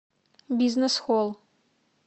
бизнес холл